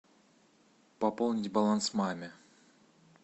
пополнить баланс маме